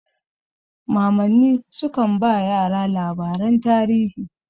Mamanni sukan ba yara labaran tarihi.